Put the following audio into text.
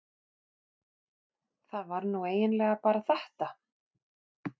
það var nú eiginlega bara þetta.